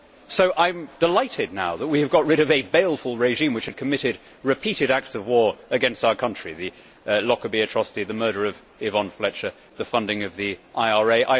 So I am delighted now that we have got rid of a baleful regime which had committed repeated acts of war against our country the Lockerbie atrocity, the murder of Yvonne Fletcher, the funding of the IRA.